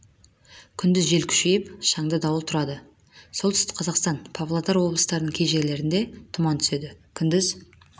күндіз жел күшейіп шаңды дауыл тұрады солтүстік қазақстан павлодар облыстарының кей жерлерінде тұман түседі күндіз